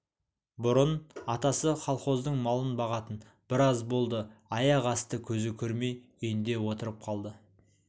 бұрын атасы колхоздың малын бағатын біраз болды аяқ асты көзі көрмей үйінде отырып қалды